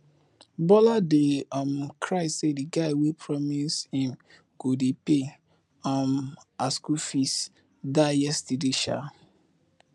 bola dey um cry say the guy wey promise im go dey pay um her school fees die yesterday um